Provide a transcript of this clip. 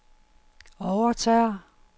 overtager